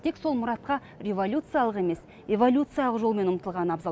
тек сол мұратқа революциялық емес эволюциялық жолмен ұмтылған абзал